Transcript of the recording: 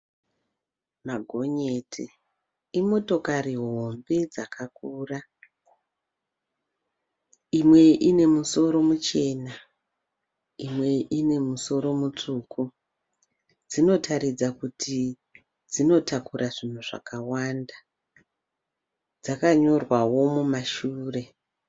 Magonyeti imotokari hombe dzakakura. Imwe ine musoro muchena. Imwe ine musoro mutsvuku. Dzinotaridza kuti dzinotakura zvinhu zvakawanda. Dzakanyorwawo mumashure.